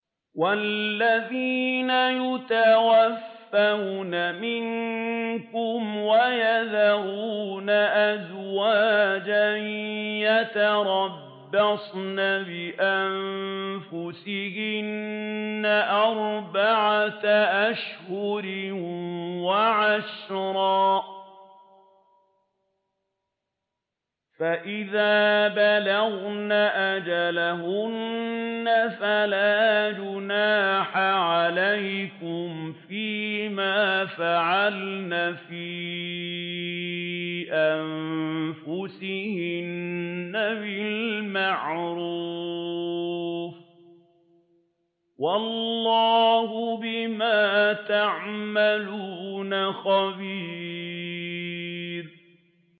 وَالَّذِينَ يُتَوَفَّوْنَ مِنكُمْ وَيَذَرُونَ أَزْوَاجًا يَتَرَبَّصْنَ بِأَنفُسِهِنَّ أَرْبَعَةَ أَشْهُرٍ وَعَشْرًا ۖ فَإِذَا بَلَغْنَ أَجَلَهُنَّ فَلَا جُنَاحَ عَلَيْكُمْ فِيمَا فَعَلْنَ فِي أَنفُسِهِنَّ بِالْمَعْرُوفِ ۗ وَاللَّهُ بِمَا تَعْمَلُونَ خَبِيرٌ